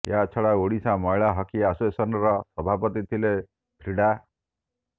ଏହାଛଡା ଓଡ଼ିଶା ମହିଳା ହକି ଆସୋସିଏସନ୍ର ସଭାପତି ଥିଲେ ଫ୍ରିଡ଼ା